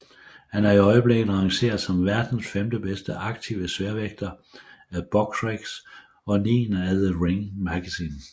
Han er i øjeblikket rangeret som verdens femte bedste aktive sværvægter af Boxrec og niende af The Ring magazine